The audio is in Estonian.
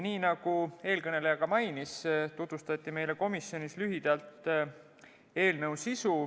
Nagu eelkõneleja mainis, tutvustati meile komisjonis lühidalt eelnõu sisu.